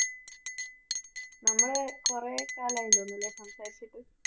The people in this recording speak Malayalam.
നമ്മള് കുറേ കാലായില്ലേ ഇങ്ങനെ സംസാരിച്ചിട്ട്?